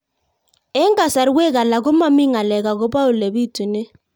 Eng' kasarwek alak ko mami ng'alek akopo ole pitunee